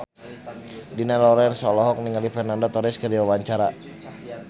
Dina Lorenza olohok ningali Fernando Torres keur diwawancara